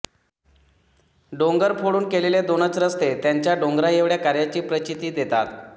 डोंगर फोडून केलेले दोनच रस्ते त्यांच्या डोंगरा एवढ्या कार्याची प्रचिती देतात